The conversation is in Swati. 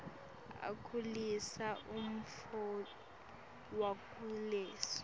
akhulisa umnotfo wakulesi